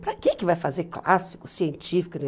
Para que que vai fazer clássico, científico?